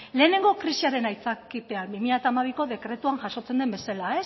lehenengo krisiaren aitzakiapean bi mila hamabiko dekretuan jasotzen den bezala